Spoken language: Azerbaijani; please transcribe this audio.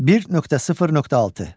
1.0.6.